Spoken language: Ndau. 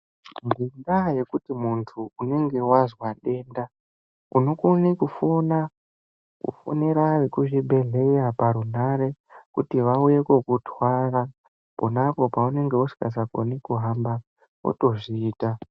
Ngendaya yekuti muntu unenge wazwa denda unokone kufona kufonera vekuzvibhedhlera parunhare kuti vauye kokutwara ponapo paunenge usikasakoni kuhamba wotozviita.